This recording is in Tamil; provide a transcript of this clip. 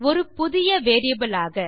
ஒரு புதிய வேரியபிள் ஆக